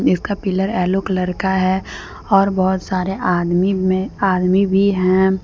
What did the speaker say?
जिसका pillar yellow colour का है और बहुत सारे आदमी में आदमी भी हैं।